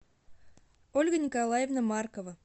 ольга николаевна маркова